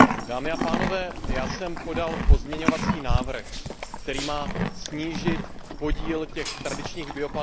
Já jsem podal pozměňovací návrh, který má snížit podíl těch tradičních biopaliv na